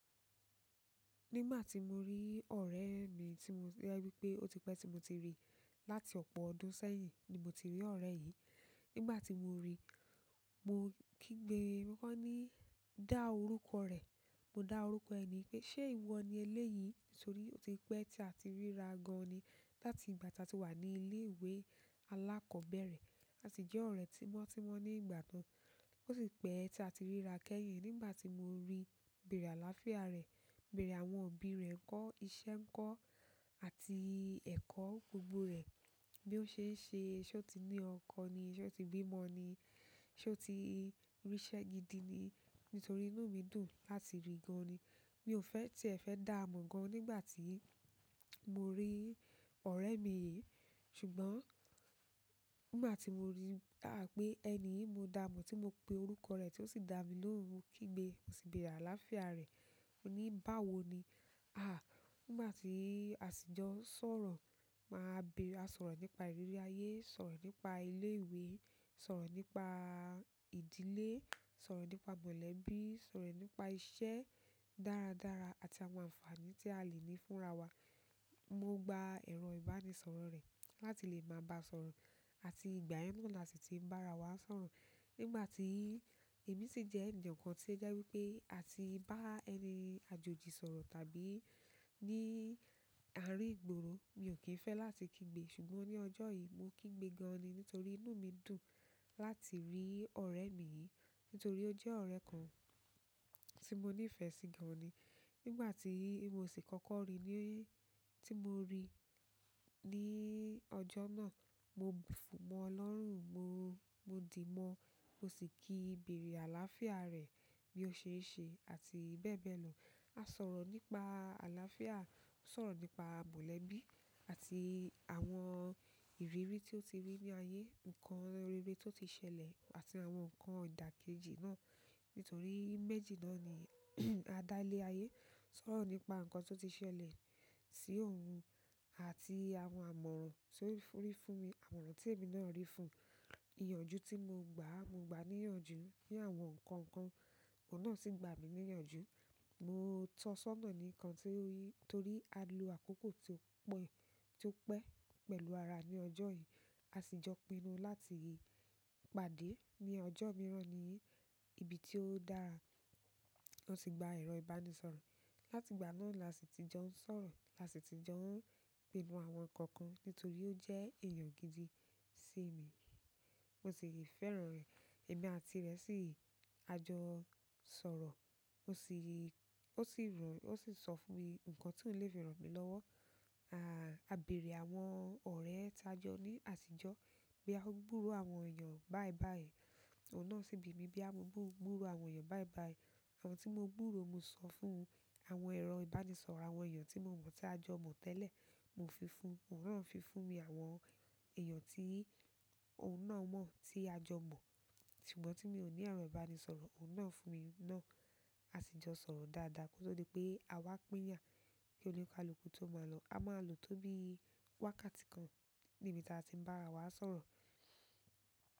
Nígbà tí mo rí ọ̀rẹ́ mi tí mo fe rí pé ó ti pẹ́ tí mo ti rí láti ọ̀pọ̀ ọdún sẹ́yìn ni mo ti rí ọ̀rẹ́ yìí. Nígbà tí mo rí i, mo kígbe mọ́kànní dá orúkọ rẹ̀. Mo dá orúkọ ẹni pé ṣé ìwo ni eléyìí? Nítorí ó ti pẹ́ tí a ti ríra gan ni láti ìgbà tí a ti wà ní ilé ìwé alákọ̀ọ́bẹ̀rẹ̀. A sì jẹ́ ọ̀rẹ́ tímọ́tímọ́ ní ìgbà náà. Ó sì pẹ́ tí a ti ríra kẹ́yìn. Nígbà tí mo rí i, mo bèrè àláfíà rẹ̀, mo bèrè àwọn ọ̀bi rẹ ńkọ́, iṣẹ́ ńkọ́ àti ẹ̀kọ́ gbogbo rẹ̀. Bí ó ṣe ń ṣe, ṣé ó ti ní ọkọ ni? Ṣé ó ti bí mọ ni? Ṣé ó ti ríṣẹ́ gidi ni? Nítorí inú mi dùn láti rí i gan ni. Mi ò fẹ́ tìẹ fẹ́ dáà mọ̀ gan nígbà tí mo rí ọ̀rẹ́ mi yìí. Ṣùgbọ́n nígbà tí mo rí i dá pé ẹni yìí mo dá mọ̀ tí mo pe orúkọ rẹ̀ tí ó sì dá mi lóhùn, mo kígbe, mo sì bèrè àláfíà rẹ̀. Ó ní báwo ni? Àá, nígbà tí a sì jọ n sọ̀rọ̀, máa bèrè, a sọ̀rọ̀ nípa ìrírí ayé, sọ̀rọ̀ nípa ilé ìwé, sọ̀rọ̀ nípa ìdílé, sọ̀rọ̀ nípa mọ̀lẹ́bí, sọ̀rọ̀ nípa iṣẹ́ dáradára àti àwọn àǹfààní tí a lè ní fúnra wa. Mo gba ẹ̀rọ ìbánisọ̀rọ̀ rẹ̀ láti lè máa bá sọ̀rọ̀ àti ìgbà yen náà la sì ti ń bá ra wa sọ̀rọ̀. Nígbà tí èmi sì jẹ́ ènìyàn kan tí ó jẹ́ wípé a ti bá ẹni àjòjì sọ̀rọ̀ tàbí ní àárín ìgboro, mi ò kí ń fẹ́ láti kígbe. Ṣùgbọ́n ní ọjọ́ yìí mo kígbe gan ni nítorí inú mi dùn láti rí ọ̀rẹ́ mi yìí. Nítorí ó jẹ́ ọ̀rẹ́ kan tí mo nífẹ̀ẹ́ sí gan ni. Nígbà tí mo sì kọ́kọ́ rí i, tí mo rí i ní ojo náà, mo fo mo lọ́rùn, mo, mo dì mọ́. Mo sì kí i, bèrè àláfíà rẹ̀ bí ó ṣe ń ṣe àti bẹ́ẹ̀ bẹ́ẹ̀ lọ. A sọ̀rọ̀ nípa àláfíà, a sọ̀rọ̀ nípa mọ̀lẹ́bí àti àwọn ìrírí tí ó ti rí ní ayé, nǹkan rere tó ti ṣẹlẹ̀ àti àwọn nǹkan ìdàkejì náà. Nítorí méjì náà ni a dá lé ayé. A tun sọ̀rọ̀ nípa nǹkan tó ti ṣẹlẹ̀ sí ohun àti àwọn àmọ̀ràn tí ó rí fún mi, àmọ̀ràn tí èmi náà rí fún un. Iyànjú tí mo gba, mo gba níyànjú ní àwọn nǹkan kan, òun náà sì gba mi níyànjú. Mo tọ́sọ́nà ní nǹkan tí ó rí torí a lo àkókò tí ó po, tí ó pẹ́ pẹ̀lú ara ní ọjọ́ yìí. A sì jọ pinnu láti pàdé ní ọjọ́ mìíràn ní ibi tí ó dára. Mo si gba ero ìbánisọ̀rọ̀ e. Láti ìgbà náà la sì ti jọ ń sọ̀rọ̀, la sì ti jọ ń pínu àwọn nǹkan kan nítorí ó jẹ́ èèyàn gídi sí mi. Mo sì fẹ́ràn rẹ̀. Èmi àti rẹ̀ sì á jọ sọ̀rọ̀. O si. Ó sì, ó sì sọ fún mi nǹkan tí ó lè fi ran mí lọ́wọ́. À, a bèrè àwọn ọ̀rẹ́ ẹ ta jọ ní àtijọ̀, bo ya o gbúrò àwọn èèyàn bayi bayi. Òun náà sì bi ìmi bo ya mo gbúrò àwọn èèyàn bayi bayi. Àwọn tí mo gburò mo sọ fún un àwọn ẹ̀rọ ìbánisọ̀rọ̀ àwọn èèyàn tí mo mọ̀ tí a jọ mọ̀ tẹ́lẹ̀, mo fi fún un. Òun náà fi fún mi àwọn èèyàn tí òun náà mọ̀ tí a jọ mọ̀. Àwọn ti o ni ero ìbánisọ̀rọ̀, ohun náà fún mi na. A si jo sooro dáadáa ki o to di pe a wa pinya, ki onikaluku to maa lo. A máa lọ tó bí wákàtí kan níbi tí a ti ń bá rawa sọ̀rọ̀.